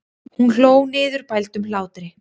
Hún hló niðurbældum hlátri.